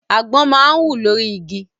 Àgbọn máa ń wù lórí igi.